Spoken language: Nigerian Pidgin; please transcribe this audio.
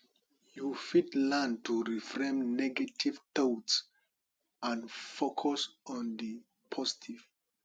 you fit learn to reframe negative thoughts and focus on di positive